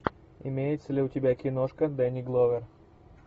имеется ли у тебя киношка дени гловер